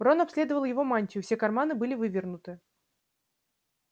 рон обследовал его мантию все карманы были вывернуты